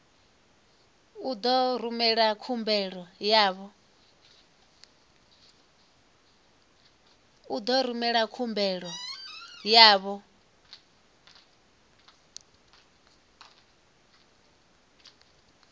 u ḓo rumela khumbelo yavho